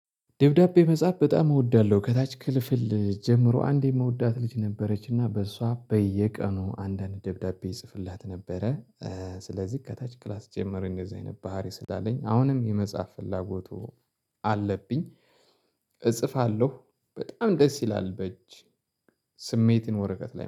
ደብዳቤ መጻፍ በጣም እወዳለሁ። ከታች ክፍል ጀምሮ አንዴ የምወዳት ልጅ ነበረችና በሷ በየቀኑ አንዳንድ ደብዳቤ ጽፍላት ነበረ። ስለዚህ ከታች ክላስ ጀመረኝ እንደዚህ አይነት ባህሪ ስላለኝ አሁንም የመጽሐፍ ፍላጎቱ አለብኝ። እጽፋለሁ በጣም ደስ ይላል። በእጅ ስሜትን ወረቀት ላይ